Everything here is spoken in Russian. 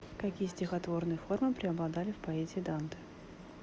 какие стихотворные формы преобладали в поэзии данте